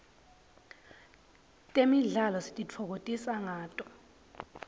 temidlalo sititfokotisa ngato